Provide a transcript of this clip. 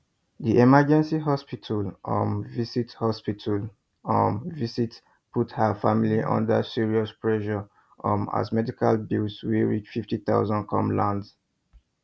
the emergency hospital um visit hospital um visit put her family under serious pressure um as medical bills wey reach 50000 come land